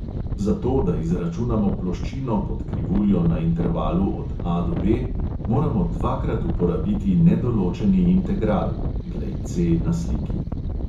Za to, da izračunamo ploščino pod krivuljo na intervalu od A do B, moramo dvakrat uporabiti nedoločeni integral (glej C na sliki).